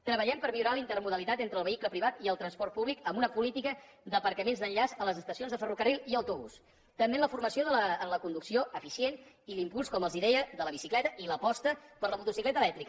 treballem per millorar l’intermodalitat entre el vehicle privat i el transport públic amb una política d’aparcaments d’enllaç a les estacions de ferrocarril i autobús també en la formació en la conducció eficient i l’impuls com els deia de la bicicleta i l’aposta per la motocicleta elèctrica